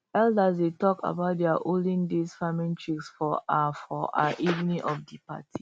elders dey talk about dia olden days farming tricks for um for um evening of di party